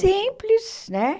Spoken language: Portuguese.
Simples, né?